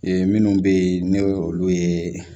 Ee minnu bɛ yen n'o ye olu ye